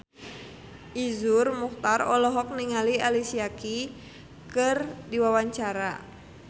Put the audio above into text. Iszur Muchtar olohok ningali Alicia Keys keur diwawancara